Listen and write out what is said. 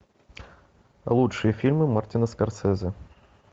лучшие фильмы мартина скорсезе